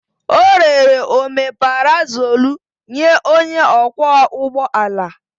O rere omeparazolu nye onye ọkwọ ụgbọ ala.